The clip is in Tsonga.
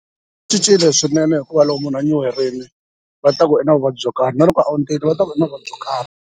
Cincile swinene hikuva loko munhu a nyuherile va ta ku i na vuvabyi byo karhi na loko ondzile va ta ku i na vuvabyi byo karhi.